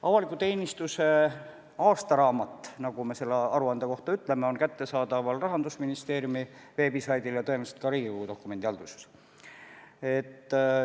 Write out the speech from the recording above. Avaliku teenistuse aastaraamat, nagu me selle aruande kohta ütleme, on kättesaadav Rahandusministeeriumi veebisaidil ja tõenäoliselt ka Riigikogu dokumendihalduses.